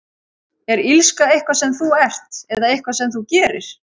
Er illska eitthvað sem þú ert, eða eitthvað sem þú gerir?